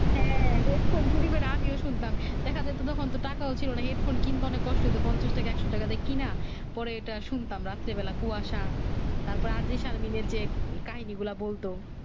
হ্যাঁ দেখতাম চুরি আমিও শুনতাম দেখা যাইতো তখন তো টাকাও ছিলো না Headphone কিনবো অনেক কষ্ট হয়তো পঞ্চাশ টাকা একশো টাকা দিয়ে কিনা পরে ওইটা শুনতাম রাতের বেলা কুয়াশা তার পর RJ শারমিনের যে কাহিনী গুলা বলত